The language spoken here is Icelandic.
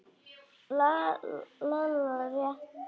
Lalla létti.